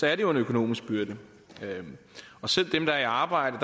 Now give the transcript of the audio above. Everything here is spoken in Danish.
er en økonomisk byrde og selv dem der er i arbejde